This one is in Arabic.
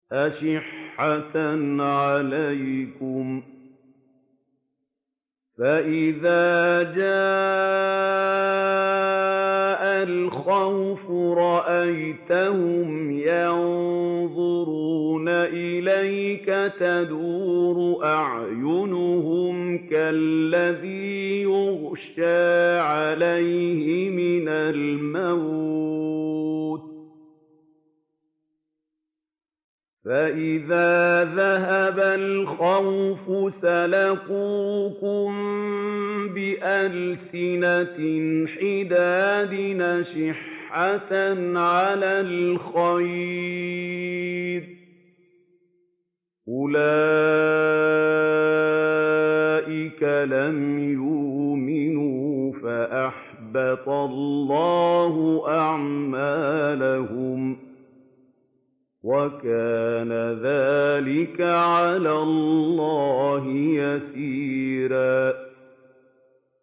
أَشِحَّةً عَلَيْكُمْ ۖ فَإِذَا جَاءَ الْخَوْفُ رَأَيْتَهُمْ يَنظُرُونَ إِلَيْكَ تَدُورُ أَعْيُنُهُمْ كَالَّذِي يُغْشَىٰ عَلَيْهِ مِنَ الْمَوْتِ ۖ فَإِذَا ذَهَبَ الْخَوْفُ سَلَقُوكُم بِأَلْسِنَةٍ حِدَادٍ أَشِحَّةً عَلَى الْخَيْرِ ۚ أُولَٰئِكَ لَمْ يُؤْمِنُوا فَأَحْبَطَ اللَّهُ أَعْمَالَهُمْ ۚ وَكَانَ ذَٰلِكَ عَلَى اللَّهِ يَسِيرًا